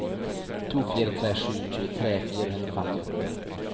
to fire tre sju tjuetre fire hundre og femtiåtte